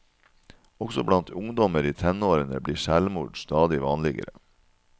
Også blant ungdommer i tenårene blir selvmord stadig vanligere.